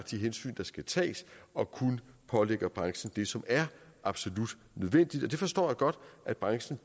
de hensyn der skal tages og kun pålægger branchen det som er absolut nødvendigt det forstår jeg godt at branchen